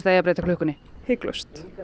eigi að breyta klukkunni hiklaust